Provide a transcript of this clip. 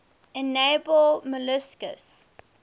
edible molluscs